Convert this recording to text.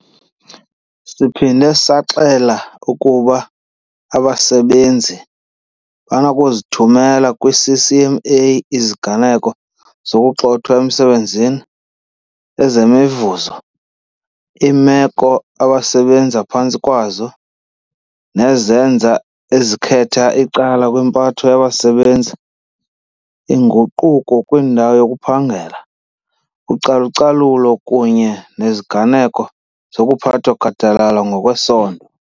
Siphinde saxela ukuba abasebenzi banokuzithumela kwiCCMA iziganeko zokugxothwa emsebenzini, ezemivuzo, iimeko abasebenza phantsi kwazo, nezenzo ezikhetha icala kwimpatho yabasebenzi, iinguquko kwindawo yokuphangela, ucalucalulo kunye neziganeko zokuphathwa gadalala ngokwesondo.